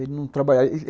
Ele não trabalhava.